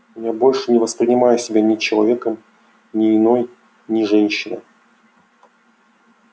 я больше не воспринимаю себя ни человеком ни иной ни женщиной